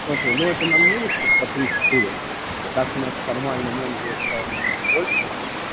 смотри ну это на висит по три-четыре так у нас формально менеджеров стало намного больше